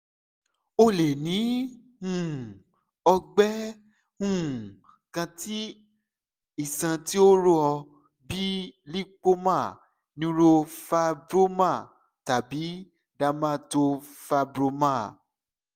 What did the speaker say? o le ni um ọgbẹ um kan ti iṣan ti o rọ bii lipoma neurofibroma tabi dermatofibroma